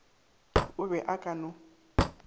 o be a ka no